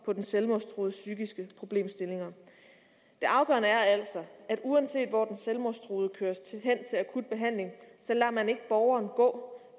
på den selvmordstruedes psykiske problemstillinger det afgørende er altså at uanset hvor den selvmordstruede køres hen til akut behandling lader man ikke borgeren gå